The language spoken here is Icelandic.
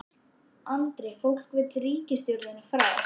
Andri: Fólk vill ríkisstjórnina frá?